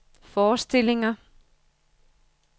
forestillinger